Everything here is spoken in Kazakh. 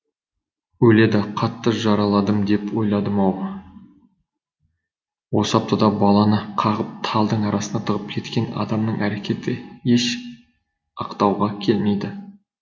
өледі қатты жараладым деп ойламады ау осы аптада баланы қағып талдың арасына тығып кеткен адамның әрекеті еш ақтауға келмейді